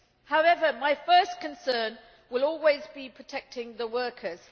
However, my first concern will always be protecting the workers.